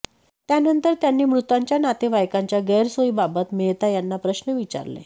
त्यानंतर त्यांनी मृतांच्या नातेवाइकांच्या गैरसोयीबाबत मेहता यांना प्रश्न विचारले